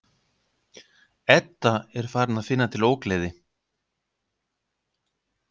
Edda er farin að finna til ógleði.